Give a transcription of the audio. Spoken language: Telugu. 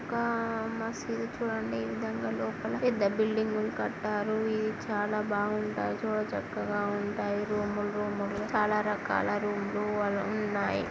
ఒక మసీదు చూడండి. ఈ విధంగా లోపల పెద్ద బిల్డింగ్ కట్టారు ఇది చాలా బాగుంటాయి. చూడచక్కగా ఉంటాయి. రూమ్ ల్ రూమ్ లుగా చాలా రకాల రూమ్ లు ఉన్నాయి.